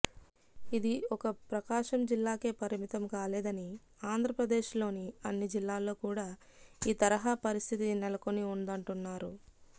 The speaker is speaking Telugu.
ఇది ఒక ప్రకాశం జిల్లాకే పరిమితం కాలేదని ఆంధ్రప్రదేశ్లోని అన్ని జిల్లాల్లో కూడా ఈ తరహా పరిస్థితి నెలకొని ఉందంటున్నారు